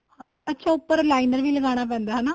ਅੱਛਾ ਉੱਪਰ liner ਵੀ ਲਗਾਣਾ ਪੈਂਦਾ ਹਨਾ